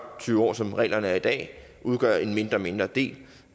år som reglerne er i dag udgøre en mindre og mindre del